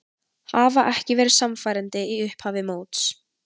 Hafa ekki verið sannfærandi í upphafi móts.